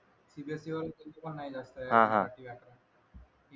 CBSE वाले त्यांचे पण नाही जास्त आहे मराठी व्याकरण इंग्लिश